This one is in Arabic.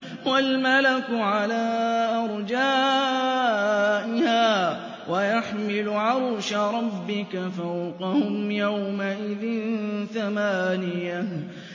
وَالْمَلَكُ عَلَىٰ أَرْجَائِهَا ۚ وَيَحْمِلُ عَرْشَ رَبِّكَ فَوْقَهُمْ يَوْمَئِذٍ ثَمَانِيَةٌ